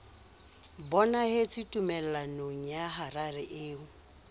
bonahetse tumellanong ya harare eo